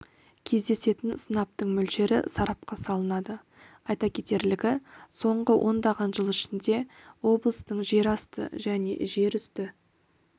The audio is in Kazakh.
кездесетін сынаптың мөлшері сарапқа салынады айта кетерлігі соңғы ондаған жыл ішінде облыстың жерасты және жерүсті